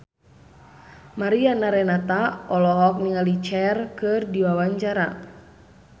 Mariana Renata olohok ningali Cher keur diwawancara